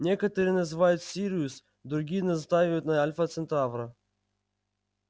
некоторые называют сириус другие настаивают на альфа центавра